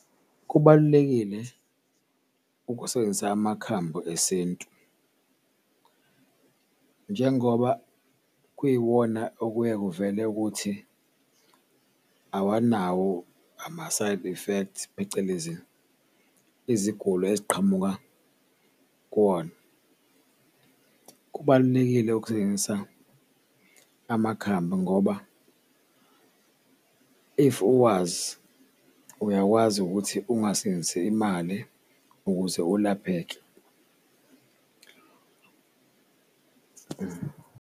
Kubalulekile ukusebenzisa amakhambi esintu njengoba kuyiwona okuye kuvele ukuthi awanawo ama-side effects phecelezi iziguli eziqhamuka kuwona, kubalulekile ukusebenzisa amakhambi ngoba if uwazi uyakwazi ukuthi ungasebenzisi imali ukuze ulapheke.